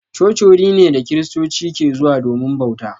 Coci wuri ne da kristoci ke zuwa domin bauta.